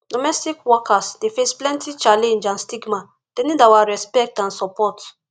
domestic workers dey face plenty challenge and stigma dem need our respect and support